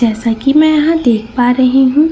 जैसा कि मैं यहां देख पा रही हूं।